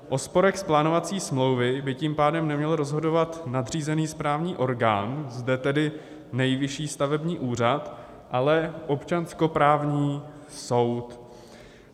O sporech z plánovací smlouvy by tím pádem neměl rozhodovat nadřízený správní orgán, zde tedy Nejvyšší stavební úřad, ale občanskoprávní soud.